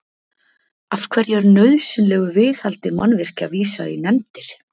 Af hverju er nauðsynlegu viðhaldi mannvirkja vísað í nefndir?